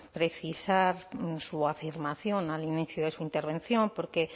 precisar su afirmación al inicio de su intervención porque